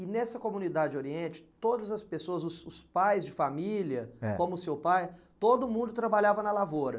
E nessa comunidade oriente, todas as pessoas, os os pais de família, eh, como o seu pai, todo mundo trabalhava na lavoura?